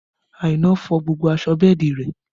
Aina fọ gbogbo aṣọ bẹ́ẹ̀dì rẹ